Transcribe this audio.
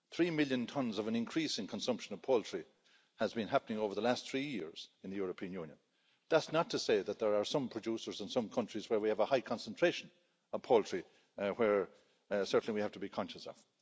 Three million tonnes of an increase in consumption of poultry has been happening over the last three years in the European Union. That's not to say that there are some producers in some countries where we have a high concentration of poultry which we certainly have to be conscious of.